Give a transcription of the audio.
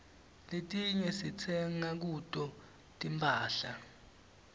letiinye sitsenga kuto tinphahla